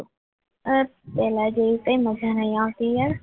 પહેલા જેવી કંઈ મજા નહીં આવતી યાર